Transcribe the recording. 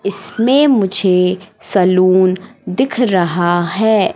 इसमें मुझे सलून दिख रहा है।